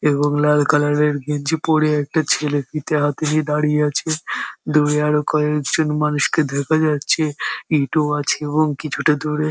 এবং লাল কালার -এর গেঞ্জি পড়ে একটা ছেলে ফিটে হাতে নিয়ে দাঁড়িয়ে আছে দূরে কয়েকজন মানুষকে দেখা যাচ্ছে ইটও আছে এবং কিছুটা দূরে ।